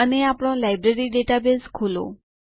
અને આપણો library database ખોલો